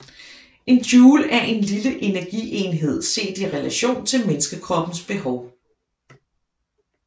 En joule er en lille energienhed set i relation til menneskekroppens behov